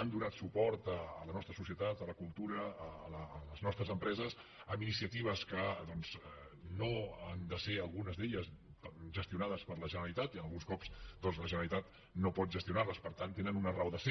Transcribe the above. han donat suport a la nostra societat a la cultura a les nostres empreses amb inici·atives que doncs no han de ser algunes d’elles gestio·nades per la generalitat i alguns cops la genera litat no pot gestionar·les per tant tenen una raó de ser